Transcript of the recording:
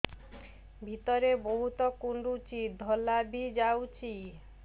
ଭିତରେ ବହୁତ କୁଣ୍ଡୁଚି ଧଳା ବି ଯାଉଛି